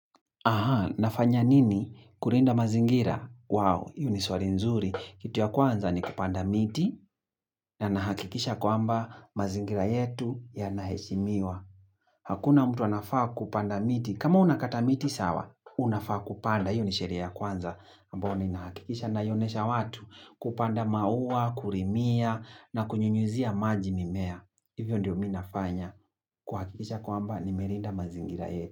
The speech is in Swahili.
Aha, nafanya nini? Kulinda mazingira. Wow, hiyo ni swali nzuri. Kitu ya kwanza ni kupanda miti na nahakikisha kwamba mazingira yetu ya naheshimiwa. Hakuna mtu anafaa kupanda miti. Kama unakata miti, sawa. Unafaa kupanda. Hiyo ni sheria ya kwanza. Ambayo ninahakikisha naionesha watu kupanda maua, kulimia na kunyunyuzia maji mimea. Hivyo ndio mi nafanya. Kuhakikisha kwamba nimelinda mazingira yetu.